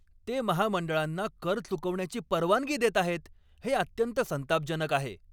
ते महामंडळांना कर चुकवण्याची परवानगी देत आहेत हे अत्यंत संतापजनक आहे.